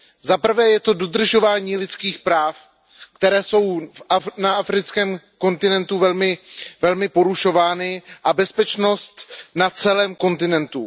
Zaprvé je to dodržování lidských práv, která jsou na africkém kontinentu velmi porušována, a bezpečnost na celém kontinentu.